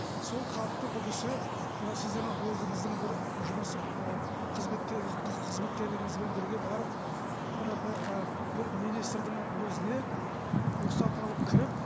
сол хатты бұл кісі мына сіздің өзіңіздің бір жұмыстық ы қызметкерлеріңізбен бірге барып мына бір министрдің өзіне рұхсат алып кіріп